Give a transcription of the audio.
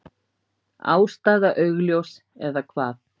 Ástæða augljós. eða hvað?